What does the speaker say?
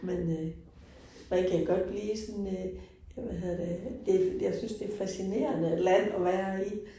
Men øh man kan godt blive sådan øh ja hvad hedder det, det det jeg synes det er et fascinerende land at være i